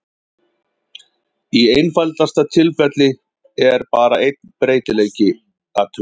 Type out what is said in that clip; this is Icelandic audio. Í einfaldasta tilfelli er bara einn breytileiki athugaður.